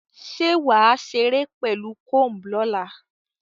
Ṣé wà á ṣeré pẹ̀lú comb lọ́la?